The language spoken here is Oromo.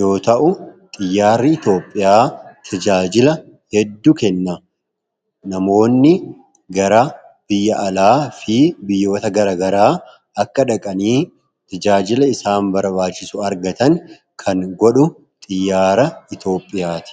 yoo ta’u, xiyyaarri Itoophiyaa tajaajila hedduu kenna. Namoonni gara biyya alaa fi biyya gara garaa dhaqanii tajaajila isaan barbaadan akka argatan kan godhu xiyyaara Itoophiyaa ti.